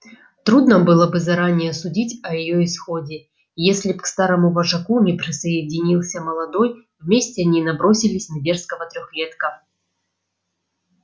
трудно было бы заранее судить о её исходе если б к старому вожаку не присоединился молодой вместе они набросились на дерзкого трёхлетка